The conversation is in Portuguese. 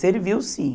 Serviu, sim.